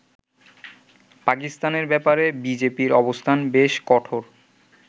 পাকিস্তানের ব্যাপারে বিজেপির অবস্থান বেশ কঠোর।